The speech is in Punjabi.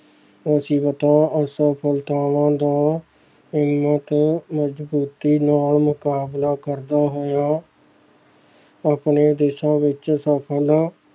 ਮੁਸੀਬਤਾਂ, ਅਸਫ਼ਲਤਾਵਾਂ ਦਾ ਇੰਨਾ ਕੁ ਮਜ਼ਬੂਤੀ ਨਾਲ ਮੁਕਾਬਲਾ ਕਰਦਾ ਹੋਇਆ ਆਪਣੇ ਦੇਸਾਂ ਵਿੱਚ ਸਫ਼ਲ